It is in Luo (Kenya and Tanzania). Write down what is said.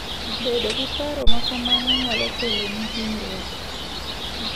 Bedo gi paro ma kamano nyalo keloni hinyruok.